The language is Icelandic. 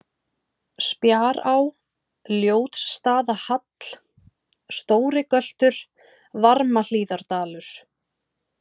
Spjará, Ljótsstaðahall, Stórigöltur, Varmahlíðardalur